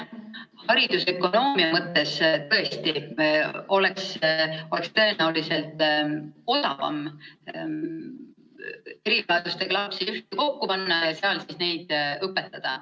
Haridusökonoomia mõttes tõesti oleks tõenäoliselt odavam erivajadustega lapsed kokku panna ja neid seal siis õpetada.